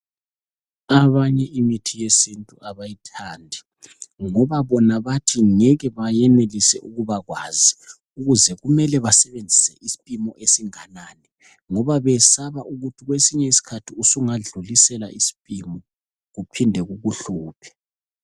Abanye imithi yesintu abayithandi ngoba bona bathi ngeke bayenelisa ukubakwazi .Ukuthi kumele basebenzise isiphimo esinganani ngoba bayesaba ukuthi kwesinye isikhathi usungadlulisela isiphimo kuphinde kukuhluphe.